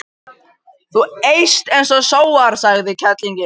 Þú eyst og sóar, sagði konan.